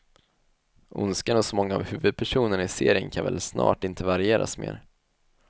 Ondskan hos många av huvudpersonerna i serien kan väl snart inte varieras mer.